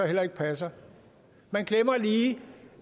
heller ikke passer man glemmer lige